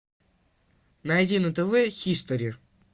найди на тв хистори